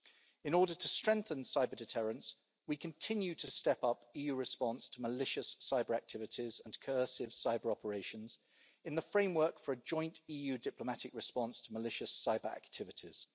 In order to strengthen cyber-deterrence, we continue to step up EU response to malicious cyber-activities and incursive cyber-operations in the framework for a joint EU diplomatic response to malicious cyber-activities.